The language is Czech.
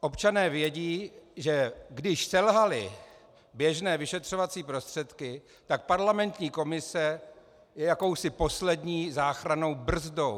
Občané vědí, že když selhaly běžné vyšetřovací prostředky, tak parlamentní komise je jakousi poslední záchrannou brzdou.